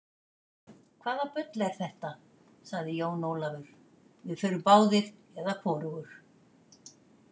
Hvaða bull er þetta, sagði Jón Ólafur, við förum báðir eða hvorugur.